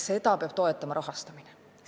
Seda peab toetama rahastamine.